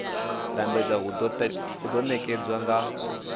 lambedza hu do nekedzwa nga